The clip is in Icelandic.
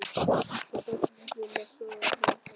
Sá í bakið á karlmanni sem stóð við grammófóninn.